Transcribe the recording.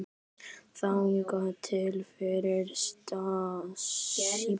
Þangað til fyrir síðasta uppboð.